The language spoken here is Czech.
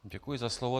Děkuji za slovo.